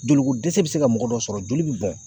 Joliko dɛsɛ bɛ se ka mɔgɔ dɔ sɔrɔ joli bɛ bɔn.